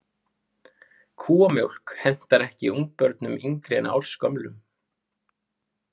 Kúamjólk hentar ekki ungbörnum yngri en ársgömlum.